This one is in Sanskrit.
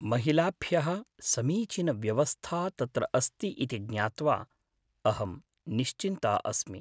महिलाभ्यः समीचीनव्यवस्था तत्र अस्ति इति ज्ञात्वा अहं निश्चिन्ता अस्मि।